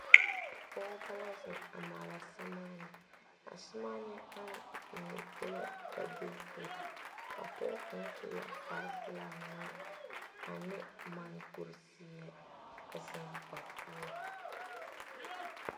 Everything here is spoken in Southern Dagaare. Pɔgeba la zeŋ a maala sɛre maane a sɛre maane ama mine be la pɛbili poɔ, a pɔge kaŋa e la kpare peɛle ŋmaa ane moɔ kuri ziɛ a zeŋ ba poɔ.